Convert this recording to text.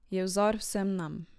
Je vzor vsem nam.